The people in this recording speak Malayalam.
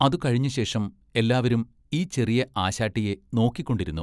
അതു കഴിഞ്ഞശേഷം എല്ലാവരും ഈ ചെറിയ ആശാട്ടിയെ നോക്കിക്കൊണ്ടിരുന്നു.